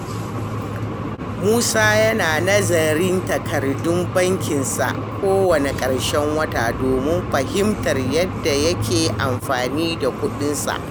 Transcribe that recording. Musa yana nazarin takardun bankinsa kowane karshen wata domin fahimtar yadda yake amfani da kudinsa.